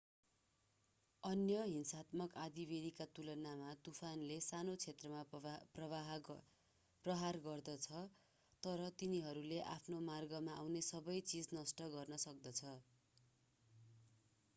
अन्य हिंसात्मक आँधीबेहरीका तुलनामा तुफानले सानो क्षेत्रमा प्रहार गर्दछ तर तिनीहरूले आफ्नो मार्गमा आउने सबै चिज नष्ट गर्न सक्दछन्